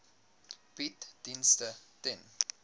bied dienste ten